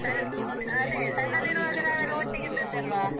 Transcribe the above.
ಅದೇ. ಸಣ್ಣದಿರುವಾಗ ನಾವೆಲ್ಲ ಒಟ್ಟಿಗಿದ್ದದ್ದಲ್ವ?